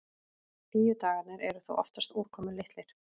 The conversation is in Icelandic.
Hlýju dagarnir eru þó oftast úrkomulitlir.